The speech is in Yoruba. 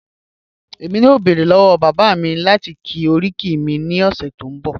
ẹ̀mí yọ̀ọ́ bẹ́ẹ̀rẹ̀ lọ́wọ́ bàbá mi láti kọ̀ oríkì mi ni ọṣẹ tó n bọ̀.